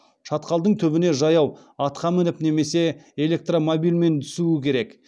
шатқалдың түбіне жаяу атқа мініп немесе электромобильмен түсуі керек